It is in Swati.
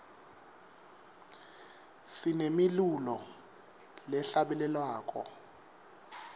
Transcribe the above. sinemilulo lehla bele lwako